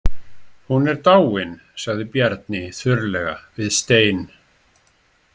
Hún er dáin, sagði Bjarni þurrlega við Stein.